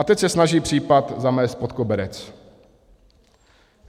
A teď se snaží případ zamést pod koberec.